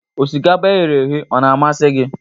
Osikapa e ghere eghe ọ na-amasị gị?